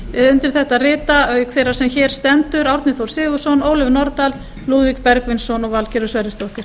undir þetta rita auk þeirrar sem hér stendur árni þór sigurðsson ólöf nordal lúðvík bergvinsson og valgerður sverrisdóttir